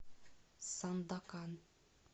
сандакан